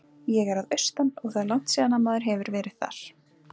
Ég er að austan og það er langt síðan að maður hefur verið þar.